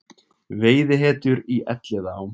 Veiðihetjur í Elliðaám